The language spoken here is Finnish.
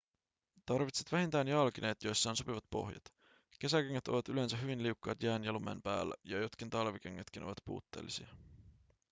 tarvitset vähintään jalkineet joissa on sopivat pohjat kesäkengät ovat yleensä hyvin liukkaat jään ja lumen päällä ja jotkin talvikengätkin ovat puutteellisia